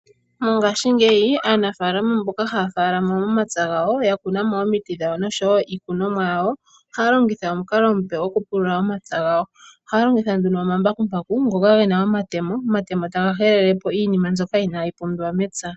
Mongaashingeyi aanafaalama mboka haya faalama momapya gawo ya kunamo omiti noshowo iikunomwa yawo ohaya longitha omukalo omupe oku pulula omapya gayo, ohaya longitha nduno ngoka gena omatemo, omatemo taga helelepo iinima mbyoka inayi pumbiwa mepya.